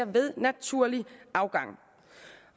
ved naturlig afgang